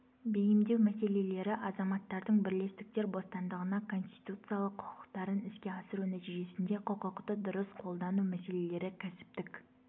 бейімдеу мәселелері азаматтардың бірлестіктер бостандығына конституциялық құқықтарын іске асыру нәтижесінде құқықты дұрыс қолдану мәселелері кәсіптік